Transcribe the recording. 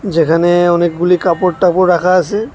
যেখানে অনেকগুলি কাপড় টাপড় রাখা আছে।